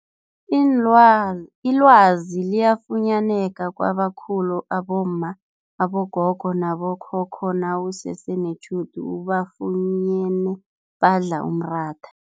Ilwazi liyafunyaneka kwabakhulu abomma, abogogo nabo khokho nawusese netjhudu ubafunyene badla umratha.